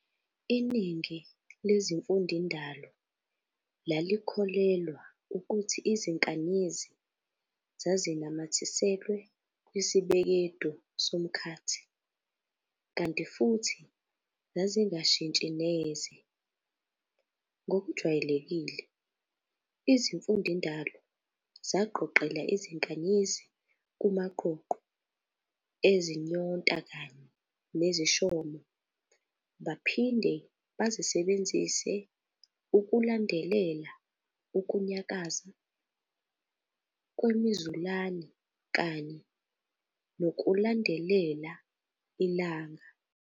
Iningi lezimfundindalo lalikholelwa ukuthi izinkanyezi zazinamathiselwe kwisibekedu somkhathi kanti futhi zazingashintshi neze. Ngokujwayelekile, izimfundindalo zaqoqela izinkanyezi kumaqoqo ezinyonta kanye nezishomo baphinde bazisebenzise ukulandelela ukunyakaza kwemizulane kanye nokulandelela ilanga.